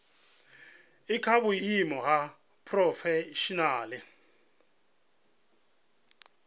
i kha vhuimo ha phurofeshinala